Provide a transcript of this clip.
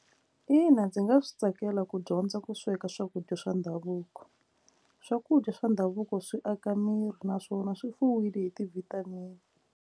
Ina, ndzi nga swi tsakela ku dyondza ku sweka swakudya swa ndhavuko swakudya swa ndhavuko swi aka miri naswona swi fuwile hi ti-vitamin-i.